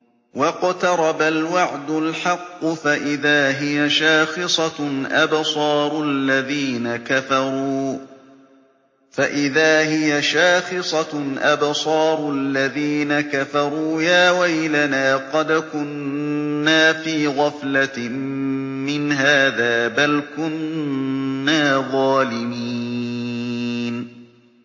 وَاقْتَرَبَ الْوَعْدُ الْحَقُّ فَإِذَا هِيَ شَاخِصَةٌ أَبْصَارُ الَّذِينَ كَفَرُوا يَا وَيْلَنَا قَدْ كُنَّا فِي غَفْلَةٍ مِّنْ هَٰذَا بَلْ كُنَّا ظَالِمِينَ